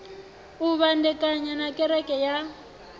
u vhandekana na kereke ya